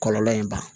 Kɔlɔlɔ in ban